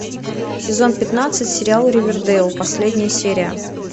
сезон пятнадцать сериал ривердэйл последняя серия